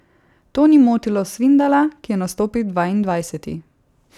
To ni motilo Svindala, ki je nastopil dvaindvajseti.